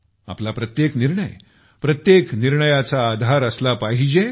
आपला प्रत्येक निर्णय प्रत्येक निर्णयाचा आधार असला पाहिजे